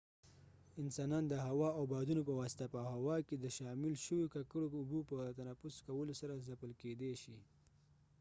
انسانان د هوا او بادونو په واسطه په هوا کې د شامل شويو ککړو اوبو په تنفس کولو سره ځپل کيدې شي